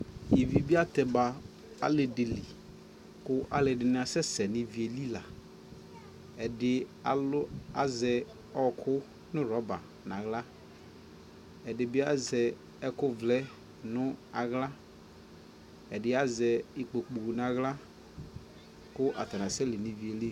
ivi bi atɛma nʋ ali dili kʋ alʋɛdini asɛsɛ nʋ iviɛli, ɛdi alʋ azɛ ɔkʋ nʋ rubber nʋ ala, ɛdibi azɛ ɛkʋ vlɛ nʋ ala, ɛdibi azɛ ikpɔkʋ nʋ ala kʋ atani asɛ li nʋ iviɛli